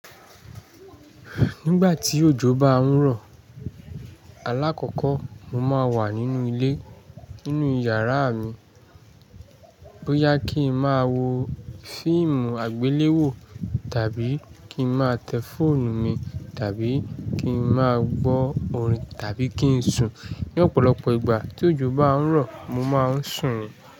Nígbà tí òjò bá ń rọ̀, alákọ́kọ́ mo máa ń wà nínú ilé, nínú yàrá mi. Bo ya kin ma wo fíìmù àgbéléwò tàbí kin ma tẹ fóònù mi tàbí kin ma gbọ́ orin tàbí kí n sùn. Ni ọ̀pọ̀lọpọ̀ ìgbà tí òjò bá ń rọ̀ mo máa ń sùn ni.